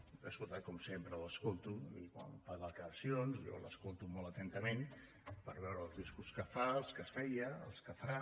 l’he escoltat com sempre l’escolto i quan fa declaracions jo l’escolto molt atentament per veure el discurs que fa el que feia els que farà